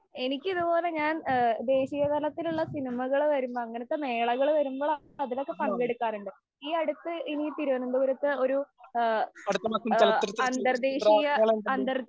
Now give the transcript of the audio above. എനിക്ക് ഇതുപോലെ ഞാന്‍ ദേശിയതലത്തിലുള്ള സിനിമകള് വരുമ്പോള്‍, അങ്ങനത്തെ മേളകള്‍ വരുമ്പോളാണ് അതിലൊക്കെ പങ്കെടുക്കാറ്. ഈ അടുത്ത് ഇനി തിരുവനതപുരത്ത് ഒരുഅന്തര്‍ദ്ദേശിയ അന്തര്‍